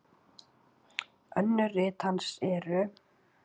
Önnur rit hans eru